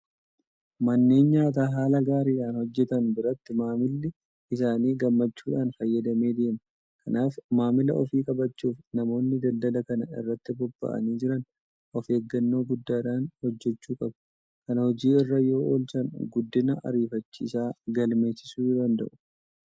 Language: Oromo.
Manneen nyaataa haala gaariidhaan hojjetan biratti maamilli isaanii gammachuudhaan fayyadamee deema. Kanaaf maamila ofii qabachuudhaaf namoonni daldala kana irratti bobba'anii jiran ofeeggannoo guddaadhaan hojjechuu qabu. Kana hojii irra yoo oolchan guddina ariifachiisaa galmeessisuu danda'u.